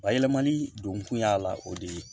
Bayɛlɛmani don kun y'a la o de ye